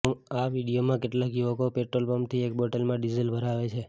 આ વીડિયોમાં કેટલાક યુવકો પેટ્રોલ પંપથી એક બોટલમાં ડિઝલ ભરાવે છે